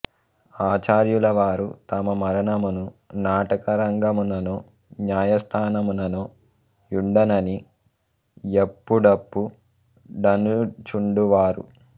ఆచార్యులవారు తమ మరణము నాటక రంగముననో న్యాయస్థానముననో యుండునని యప్పు డప్పు డనుచుండువారు